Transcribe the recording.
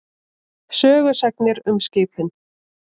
Sögusagnir um skipin.